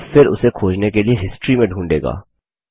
यह फिर उसे खोजने के लिए हिस्टरी में ढूंढेगा